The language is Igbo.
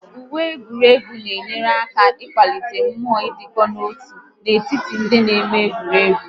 Uwe egwuregwu na enyere aka akwalite mmụọ idiko nọ-otu n'etiti ndị na-eme egwuregwu